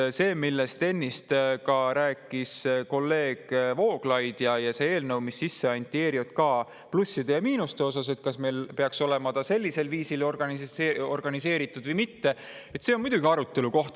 ERJK plussid ja miinused – see, millest ennist rääkis kolleeg Vooglaid, ja see, eelnõus, mis sisse anti –, kas see peaks olema sellisel viisil organiseeritud või mitte – see on muidugi arutelu koht.